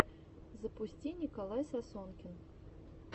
запусти николай сосонкин